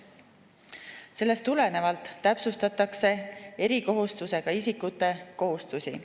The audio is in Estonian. Sellest tulenevalt täpsustatakse erikohustustega isikute kohustusi.